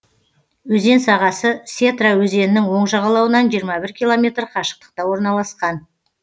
өзен сағасы сетра өзенінің оң жағалауынан жиырма бір километр қашықтықта орналасқан